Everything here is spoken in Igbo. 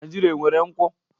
Naijiria enwere nkwu?